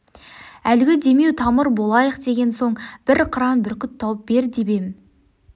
әлгі демеу тамыр болайық деген соң бір қыран бүркіт тауып бер деп ем